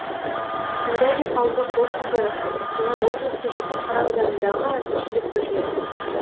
тимирязев ауылдық округі қостанай облысы жітіқара ауданындағы әкімшілік бірлік